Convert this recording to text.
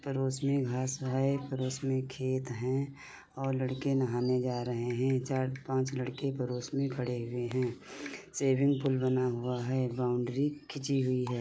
पड़ोस में घास है। पड़ोस में खेत हैं और लड़के नहाने जा रहे हैं। चार-पाँच लड़के पड़ोस में खड़े हुए हैं। स्विमिंग पुल बना हुआ है। बाउन्ड्री खींची हुई है।